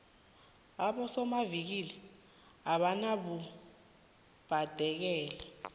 abosomavikili abanabubhadekelo